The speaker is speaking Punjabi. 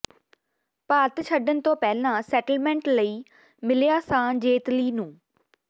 ਭਾਰਤ ਛੱਡਣ ਤੋਂ ਪਹਿਲਾਂ ਸੈਟਲਮੈਂਟ ਲਈ ਮਿਲਿਆ ਸਾਂ ਜੇਤਲੀ ਨੂੰ